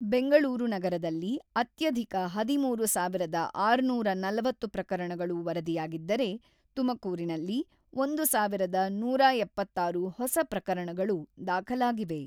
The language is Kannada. ಬೆಂಗಳೂರು ನಗರದಲ್ಲಿ ಅತ್ಯಧಿಕ ಹದಿಮೂರು ಸಾವಿರದ ಆರುನೂರ ನಲವತ್ತು ಪ್ರಕರಣಗಳು ವರದಿಯಾಗಿದ್ದರೆ, ತುಮಕೂರಿನಲ್ಲಿ ಒಂದು ಸಾವಿರದ ನೂರ ಎಪ್ಪತ್ತಾರು ಹೊಸ ಪ್ರಕರಣಗಳು ದಾಖಲಾಗಿವೆ.